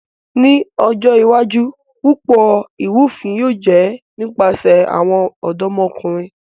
Ni ojo iwaju, Pupọ irufin yóò jẹ nipasẹ awọn ọdọmọkunrin.